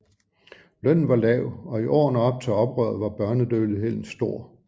Lønnen var lav og i årene op til oprøret var børnedødeligheden stor